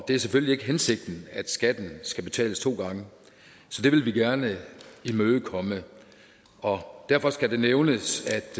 det er selvfølgelig ikke hensigten at skatten skal betales to gange så det vil vi gerne imødekomme og derfor skal det nævnes